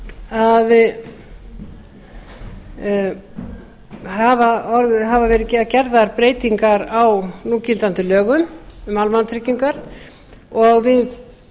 löggjafarþingi en síðan þá hafa verið gerðar breytingar á núgildandi lögum um almannatryggingar og við